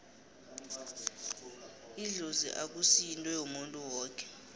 idlozi akusi yinto yomuntu woke